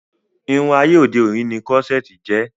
Irun ayé òde òni ni Kírọ́sẹ̀tì jẹ́